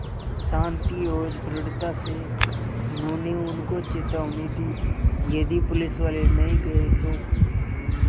शान्ति और दृढ़ता से उन्होंने उनको चेतावनी दी यदि पुलिसवाले नहीं गए तो